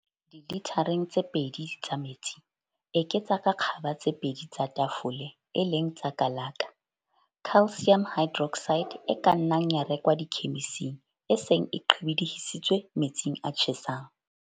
Dilithareng tse pedi tsa metsi, eketsa ka kgaba tse pedi tsa tafole, e leng tsa kalaka, calcium hydroxide e ka nnang ya rekwa dikhemising, e seng e qhibidihisitswe metsing a tjhesang.